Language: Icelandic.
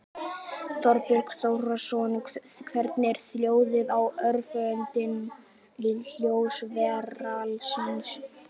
Þorbjörn Þórðarson: Hvernig er hljóðið í áhöfninni í ljósi verkfallsins?